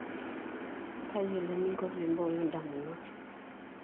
tayiolo eninko pee imbooyo indamunot